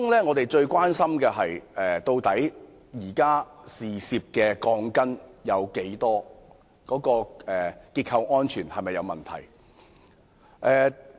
我們最關心的是有多少涉事的鋼筋，以及結構安全會否出現問題。